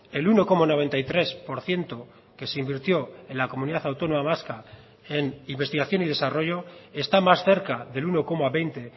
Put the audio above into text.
el uno coma noventa y tres por ciento que se invirtió en la comunidad autónoma vasca en investigación y desarrollo está más cerca del uno coma veinte